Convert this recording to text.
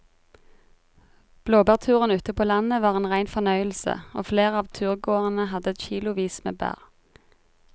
Blåbærturen ute på landet var en rein fornøyelse og flere av turgåerene hadde kilosvis med bær.